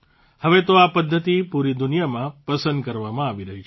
હવે તો આ પદ્ધતિ પૂરી દુનિયામાં પસંદ કરવામાં આવી રહી છે